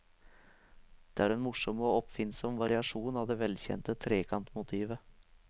Det er en morsom og oppfinnsom variasjon av det velkjente trekantmotivet.